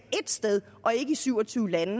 et sted og ikke i syv og tyve lande